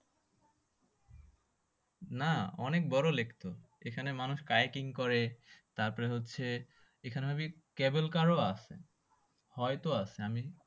না অনেক বড়ো lake তো এখানে মানুষ skyking করে তারপরে হচ্ছে এখানে may be cable car ও আছে হয়তো আছে আমি